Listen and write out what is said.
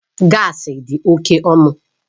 Gaasi dị oke ọnụ